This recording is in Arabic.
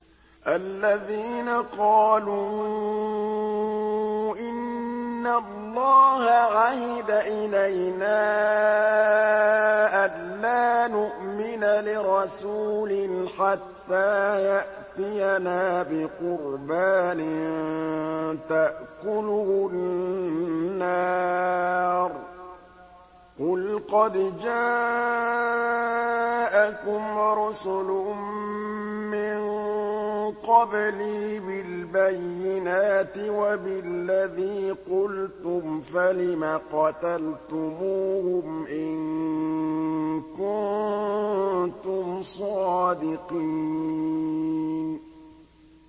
الَّذِينَ قَالُوا إِنَّ اللَّهَ عَهِدَ إِلَيْنَا أَلَّا نُؤْمِنَ لِرَسُولٍ حَتَّىٰ يَأْتِيَنَا بِقُرْبَانٍ تَأْكُلُهُ النَّارُ ۗ قُلْ قَدْ جَاءَكُمْ رُسُلٌ مِّن قَبْلِي بِالْبَيِّنَاتِ وَبِالَّذِي قُلْتُمْ فَلِمَ قَتَلْتُمُوهُمْ إِن كُنتُمْ صَادِقِينَ